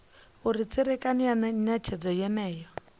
uri tserekano ya netshedzo yeneyo